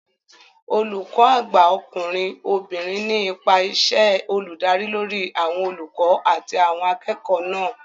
Olùkó àgbà ọkùnrin/obìnrin ní ipa iṣẹ́ olùdarí lórí àwọn olùkọ́ àti àwọn akẹ́kọ̀ọ́ náà